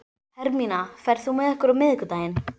Hermína, ferð þú með okkur á miðvikudaginn?